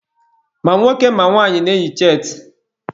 Ma nwoke ma nwaanyị na-eyi cheetị